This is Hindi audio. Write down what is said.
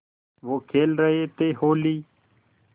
वो खेल रहे थे होली